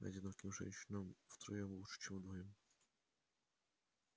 одиноким женщинам втроём лучше чем вдвоём